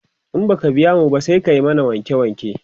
in baka biya mu ba, sai ka mana wanke wanke